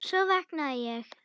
Svo vaknaði ég.